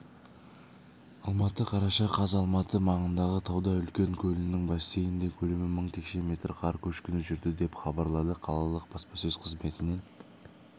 алматы қараша қаз алматы маңындағы тауда үлкен көлінің бассейнінде көлемі мың текше метр қар көшкіні жүрді деп хабарлады қалалық баспасөз қызметінен